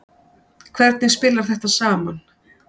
Hvernig spilar þetta saman.